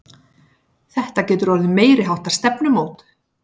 Þetta getur orðið meiriháttar stefnumót!